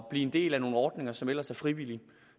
blive en del af nogle ordninger som ellers er frivillige